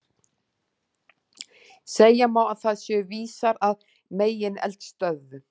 Segja má að þar séu vísar að megineldstöðvum.